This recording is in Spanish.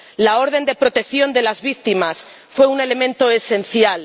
La orden de protección de las víctimas fue un elemento esencial.